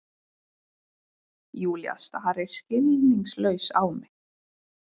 Júlía starir skilningslaus á mig.